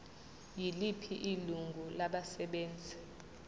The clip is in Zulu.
yiliphi ilungu labasebenzi